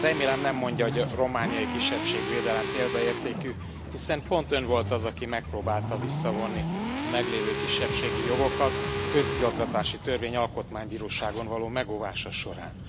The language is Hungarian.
Remélem, nem mondja, hogy a romániai kisebbségvédelem példaértékű, hiszen pont Ön volt az, aki megpróbálta visszavonni a meglévő kisebbségi jogokat a közigazgatási törvény alkotmánybíróságon való megóvása során.